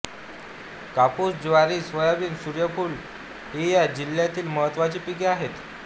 कापूस ज्वारी सोयाबीन सूर्यफूल ही या जिल्ह्यातील महत्त्वाची पिके आहेत